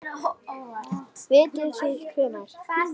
Vitið þið hvenær?